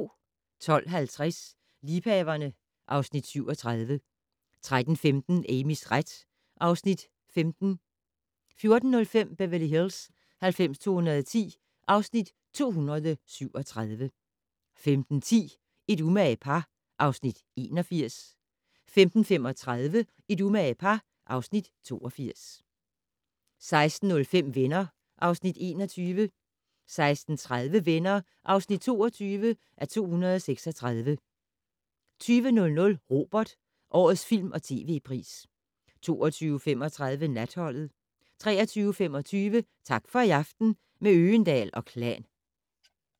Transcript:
12:50: Liebhaverne (Afs. 37) 13:15: Amys ret (Afs. 15) 14:05: Beverly Hills 90210 (Afs. 237) 15:10: Et umage par (Afs. 81) 15:35: Et umage par (Afs. 82) 16:05: Venner (Afs. 21) 16:30: Venner (22:236) 20:00: Robert: Årets film- & tv-pris 22:35: Natholdet 23:25: Tak for i aften - med Øgendahl & Klan